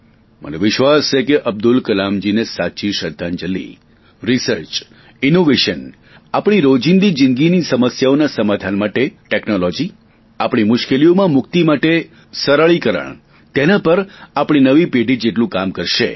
મને વિશ્વાસ છે કે અબ્દુલ કલામજીને સાચી શ્રધ્ધાંજલિ રિસર્ચ ઇનોવેશન આપણી રોજિંદા જીંદગીની સમસ્યાઓના સમાધાન માટે ટેકનોલોજી આપણી મુશ્કેલીઓમાંથી મુક્તિ માટે સરળીકરણ તેના પર આપણી નવી પેઢી જેટલું કામ કરશે